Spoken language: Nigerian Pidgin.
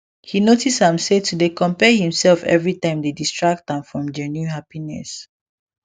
he notice am say to dey compare himself everytime dey distract am from genuine happiness